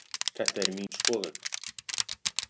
Þetta er mín skoðun